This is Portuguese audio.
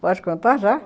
Pode contar já?